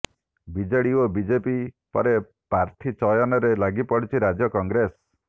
BJD ଓ BJP ପରେ ପ୍ରାର୍ଥୀ ଚୟନରେ ଲାଗିପଡିଛି ରାଜ୍ୟ କଂଗ୍ରେସ